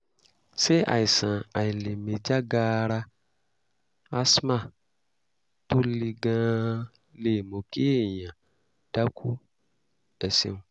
ṣé àìsàn àìlèmí já gaara (asthma) tó le gan-an lè mú kí èèyàn dákú? ẹ ṣeun